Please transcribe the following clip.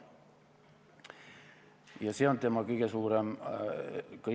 Ja see on tema kõige suurem jama.